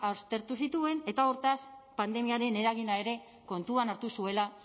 aztertu zituen eta hortaz pandemiaren eragina ere kontuan hartu zuela